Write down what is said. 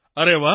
અરે વાહ